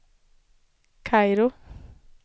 Kairo